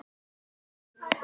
En við hverju bjóst hann?